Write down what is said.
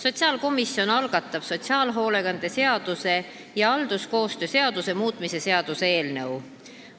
Sotsiaalkomisjon algatab sotsiaalhoolekande seaduse ja halduskoostöö seaduse muutmise seaduse eelnõu.